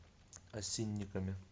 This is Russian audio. осинниками